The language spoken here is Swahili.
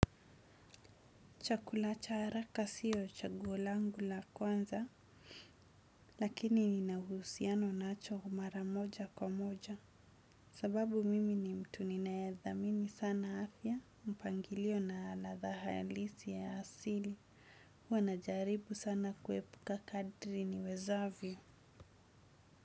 Chakula cha haraka sio chaguo langu la kwanza, lakini nina uhusiano nacho mara moja kwa moja. Sababu mimi ni mtu ninayethamini sana afya, mpangilio na ladha halisi ya asili, huwa najaribu sana kuepuka kadri niwezavyo.